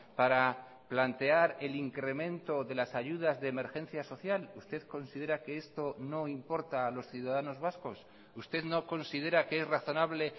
para plantear el incremento de las ayudas de emergencia social usted considera que esto no importa a los ciudadanos vascos usted no considera que es razonable